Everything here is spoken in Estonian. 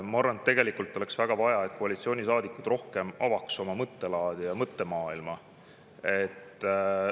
Ma arvan, et oleks väga vaja, et koalitsioonisaadikud avaks rohkem oma mõttelaadi ja mõttemaailma.